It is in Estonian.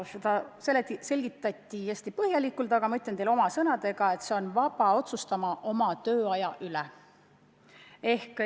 Seda selgitati hästi põhjalikult, aga ma ütlen teile oma sõnadega, et see inimene on vaba otsustama oma tööaja üle.